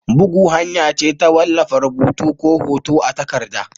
Bugu hanya ce ta wallafa rubutu ko hoto a takarda.